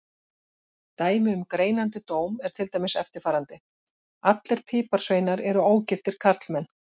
Dæmi um greinandi dóm er til dæmis eftirfarandi: Allir piparsveinar eru ógiftir karlmenn.